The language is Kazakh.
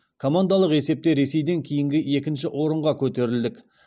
командалық есепте ресейден кейінгі екінші орынға көтерілдік